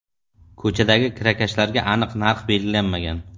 Ko‘chadagi kirakashlarda aniq narx belgilanmagan.